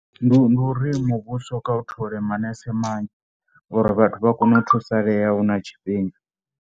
Ndi ndi uri muvhuso kha u thole manese manzhi uri vhathu vha kone u thusalea hu na tshifhinga.